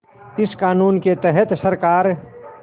इस क़ानून के तहत सरकार